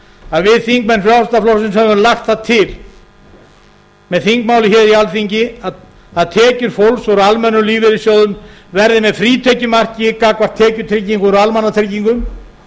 að við þingmenn frjálslynda flokksins höfum lagt það til með þingmálin í alþingi að tekjur fólks úr almennum lífeyrissjóðum verði með frítekjumarki gagnvart tekjutryggingu úr almannatryggingum líkt